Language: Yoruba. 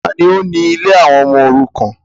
Ta ni ó ni ilé àwọn ọmọ òrukàn?